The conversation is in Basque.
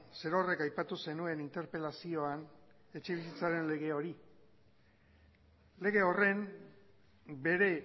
zerorrek aipatu zenuen interpelazioan etxebizitzaren lege hori lege horren bere